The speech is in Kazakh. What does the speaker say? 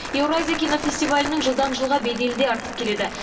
еуразия кинофестивалінің жылдан жылға беделі де артып келеді